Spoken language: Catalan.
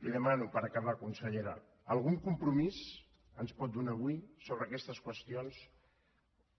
li demano per acabar consellera algun compromís ens pot donar avui sobre aquestes qüestions